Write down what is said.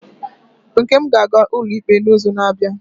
Nkem ga-aga ụlọikpe n'izu na-abịa?